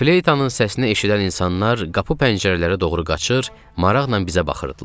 Fleytanın səsini eşidən insanlar qapı-pəncərələrə doğru qaçır, maraqla bizə baxırdılar.